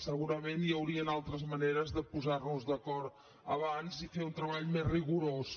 segurament hi haurien altres maneres de posar nos d’acord abans i fer un treball més rigorós